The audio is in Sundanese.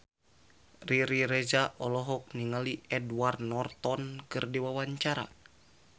Riri Reza olohok ningali Edward Norton keur diwawancara